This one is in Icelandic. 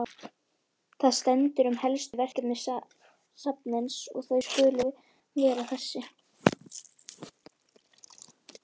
Þar stendur um helstu verkefni safnsins að þau skuli vera þessi